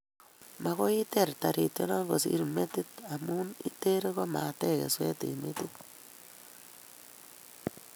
Mokoi iteer tarition kosirin metit, imuchi iteer komatech kesweet eng' metit